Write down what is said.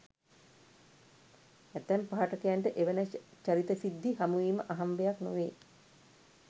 ඇතැම් පාඨකයන්ට එවැනි චරිත සිද්ධි හමුවීම අහම්බයක් නොවේ.